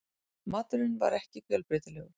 Maturinn var ekki fjölbreytilegur.